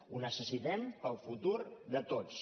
ho necessitem per al futur de tots